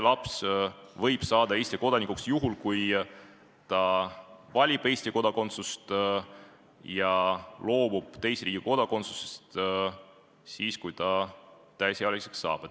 Laps võib saada Eesti kodanikuks juhul, kui ta valib Eesti kodakondsuse ja loobub teise riigi kodakondsusest siis, kui ta täisealiseks saab.